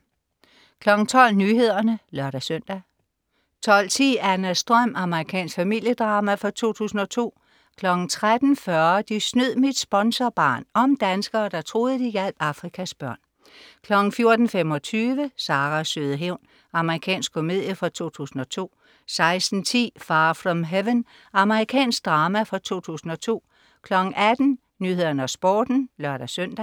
12.00 Nyhederne (lør-søn) 12.10 Annas drøm. Amerikansk familiedrama fra 2002 13.40 De snød mit sponsorbarn. Om danskere der troede, de hjalp Afrikas børn 14.25 Saras søde hævn. Amerikansk komedie fra 2002 16.10 Far from Heaven. Amerikansk drama fra 2002 18.00 Nyhederne og Sporten (lør-søn)